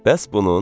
Bəs bunun?